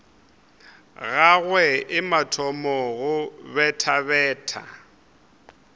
gagwe e thoma go bethabetha